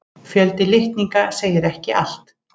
Fjöldi litninga segir ekki allt.